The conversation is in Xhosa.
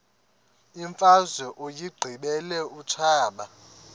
imfazwe uyiqibile utshaba